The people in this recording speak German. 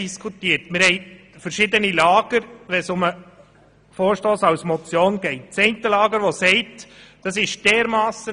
Bezüglich dem Vorstoss als Motion gab es verschiedene Lager.